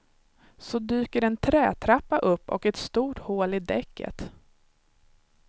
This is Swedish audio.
Så dyker en trätrappa upp och ett stort hål i däcket.